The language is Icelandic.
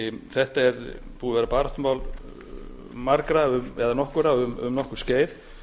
þetta er búið að vera baráttumál margra eða nokkurra um nokkurt skeið